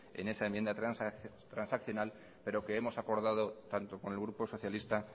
en esa enmienda transaccional pero que hemos acordado tanto con el grupo socialista